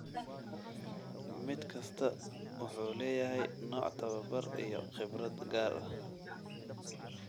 Mid kastaa wuxuu leeyahay nooc tababar iyo khibrad gaar ah.